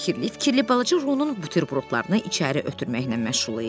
O fikirli-fikirli balaca Runun buterbrodlarını içəri ötürməklə məşğul idi.